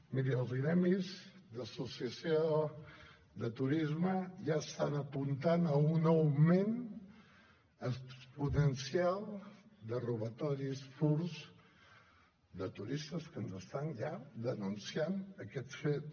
miri els gremis d’associació de turisme ja estan apuntant a un augment exponencial de robatoris furts de turistes que ens estan ja denunciant aquest fet